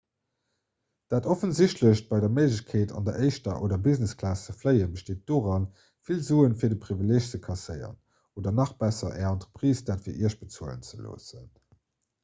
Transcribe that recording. dat offensichtlecht bei der méiglechkeet an der éischter oder business-klass ze fléien besteet doran vill sue fir de privileeg ze kasséieren oder nach besser är entreprise dat fir iech bezuelen ze loossen